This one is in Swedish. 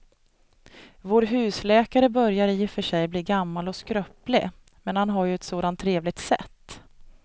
Vår husläkare börjar i och för sig bli gammal och skröplig, men han har ju ett sådant trevligt sätt!